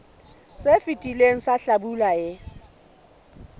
se fetileng sa hlabula e